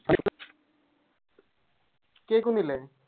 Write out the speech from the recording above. കേക്കുന്നിലെ